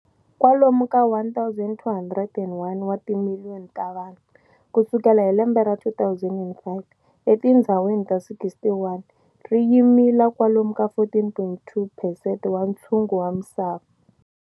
Kwalomu ka 1,201 wa timiliyoni ta vanhu, kusukela hi lembe ra 2005, etindhzawini ta 61, ri yimila kwalomu ka 14.2 percent wa nthsungu wa misava.